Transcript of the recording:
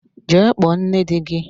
Jee kpọọ nne di gị!